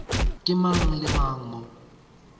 ke mang le mang mo